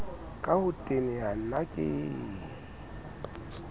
ka ho teneha na ke